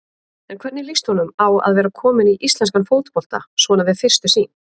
En hvernig líst honum á að vera kominn í íslenskan fótbolta svona við fyrstu sýn?